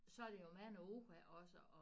Så er det jo mange ord også og